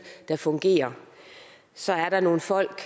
der fungerer så er der nogle folk